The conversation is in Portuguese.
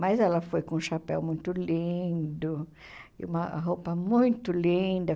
Mas ela foi com um chapéu muito lindo e uma roupa muito linda.